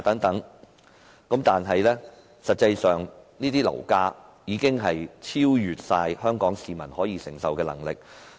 但是，實際上，樓價已完全超出香港市民的承受能力。